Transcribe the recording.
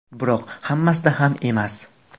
Biroq hammasida ham emas.